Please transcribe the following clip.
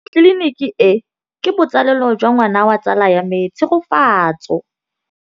Tleliniki e, ke botsalêlô jwa ngwana wa tsala ya me Tshegofatso.